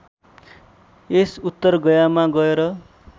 यस उत्तरगयामा गएर